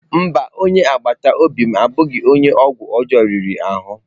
Mba, onye agbata obi m abụghị onye ọgwụ ọjọọ riri ahụ?